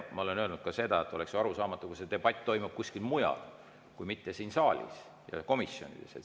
Ma olen öelnud ka seda, et oleks ju arusaamatu, kui see debatt toimuks kuskil mujal, mitte siin saalis ja komisjonides.